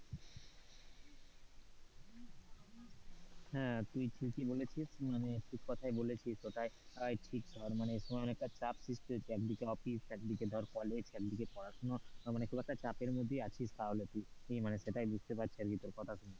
হ্যাঁ তুই ঠিকই বলেছিস মানে ঠিক কথাই বলেছিস, ওটাই ঠিক মানে এমন একটা চাপ সৃষ্টি হয়েছে, মানে একদিকে অফিস একদিকে ধর কলেজ একদিকে পড়াশোনা মানে খুব একটা চাপের মধ্যে আছিস তাহলে তুই সেটাই বুঝতে পারছি আর কি তোর কথা শুনে,